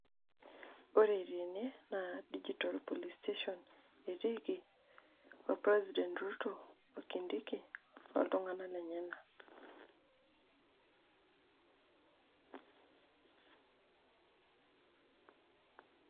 ore tene naa digital police station etiiki olpresident ruto,o kindiki, oltung'anak lenyanak.